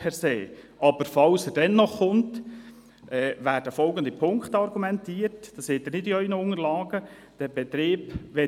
Für den Fall, dass er dennoch kommt, wird vonseiten Gemeinde mit folgenden Punkten argumentiert – diese finden Sie nicht in Ihren Unterlagen: